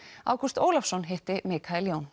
Ágúst Ólafsson hitti